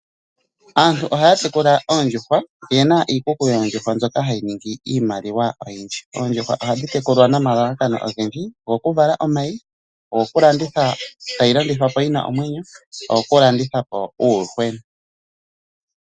Aantu ohaya tekula oondjuhwa. Oyena iikuku yoondjuhwa mbyoka hayi ningi iimaliwa oyindji. Oondjuhwa ohadhi tekulwa nomalalakano ogendji ngaashi gokuvala omayi, ogokulandithwa yina omwenyo , oyokulandithwapo uuyuhwena.